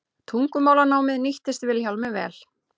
Tungumálanámið nýttist Vilhjálmi vel.